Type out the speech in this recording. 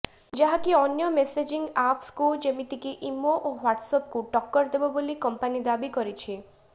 ଯାହାକି ଅନ୍ୟ ମେସେଜିଂ ଆପ୍କୁ ଯେମିତିକି ଇମୋ ଓ ହ୍ବାଟସ୍ଆପ୍କୁ ଟକ୍କର ଦେବ ବୋଲି କମ୍ପାନି ଦାବି କରିଛି